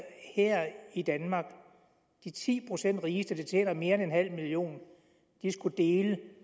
i danmark de ti procent rigeste der tjener mere end en halv million skulle dele